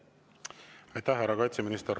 Aitäh, härra kaitseminister!